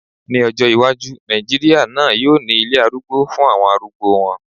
Ní ọjọ́ iwájú, Nàìjíríà náà yóò ní ilé arúgbó fún àwọn arúgbó wọn